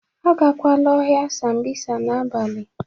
Agakwala ọhịa Sambisa n'abalị!